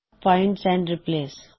find and replace